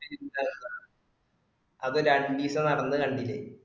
അത് രണ്ടീസം നടന്ന് കണ്ടില്ലേ